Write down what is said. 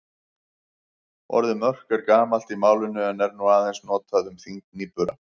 Orðið mörk er gamalt í málinu en er nú aðeins notað um þyngd nýbura.